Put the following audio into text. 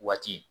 Waati